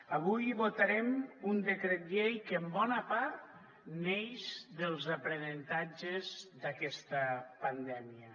avui votarem un decret llei que en bona part neix dels aprenentatges d’aquesta pandèmia